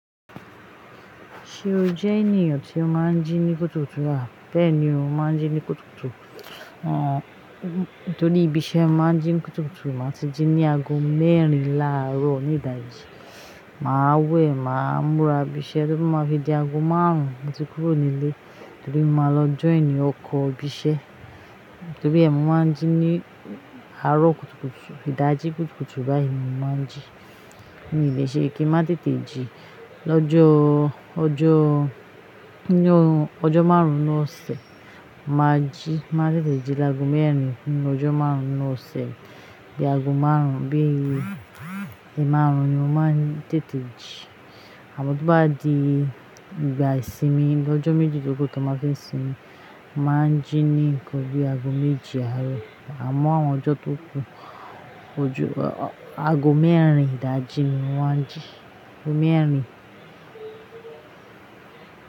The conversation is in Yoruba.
Ṣé o jẹ́ ènìyàn tí ó máa ń jí ní kùtùkùtù? À, bẹ́ẹ̀ ni o máa ń jí ní kùtùkùtù. À, nítorí ibi iṣẹ́ máa ń jí kùtùkùtù, màá ti jí ní aago mẹ́rin láàárọ̀ ní ìdájì. Mà á wẹ̀, mà á múra bí iṣẹ́ tó bá máa fi di aago márùn-ún, mo ti kúrò nílé torí mo máa lọ join ọkọ̀ bí iṣẹ́. Torí ẹ mo máa ń jí ní àárọ̀ kùtùkùtù, ìdájí kùtùkùtù báyìí mi máa ń jí. Mii lé iṣẹ́ kí n má tètè jí, lọ́jọ́, ọjọ́, nínú ọjọ́ márùn-ún ọ̀sẹ̀, mà á jí, mà á tètè jí láàgò mẹ́rin nínú ọjọ́ márùn-ún ní ọ̀sẹ̀ bí i aago márùn-ún, bí i ẹmárùn-ún ni mo máa ń tètè jí. Àmọ́ tó bá di ìgbà ìsinmi lọ́jọ́ méjì tó tó kù ta máa fi sinmi, mo mà á ń jí nì nkan bí i aago méje àárọ̀. Àmọ́ àwọn ọjọ́ tó kù, ojú aago mẹ́rin ìdájí ni mo máa ń jí, aago mẹ́rin.